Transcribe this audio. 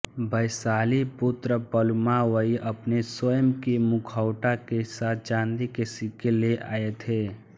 वैशालीपुत्र पलूमावई अपने स्वयं के मुखौटा के साथ चांदी के सिक्के ले आए थे